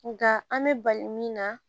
Nka an bɛ bali min na